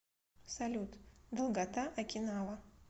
салют долгота окинава